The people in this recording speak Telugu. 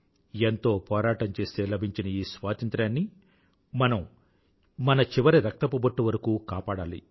ఎంతో పోరాటం చేస్తే లభించిన ఈ స్వాతంత్రాన్ని మనం మన చివరి రక్తపు బొట్టు వరకూ కాపాడాలి